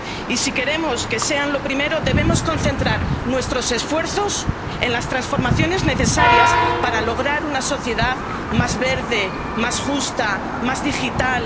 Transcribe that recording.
Y si queremos que sean lo primero, debemos concentrar nuestros esfuerzos en las transformaciones necesarias para lograr una sociedad más verde, más justa, más digital.